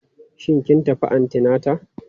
Shin kin tafi antinata?